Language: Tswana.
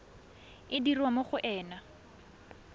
e dirwa mo go ena